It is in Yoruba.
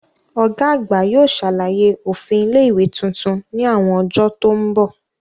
Ọ̀gá àgbà yóò ṣàlàyé òfin ilé ìwé tuntun ní àwọn ọjọ́ tó mbọ̀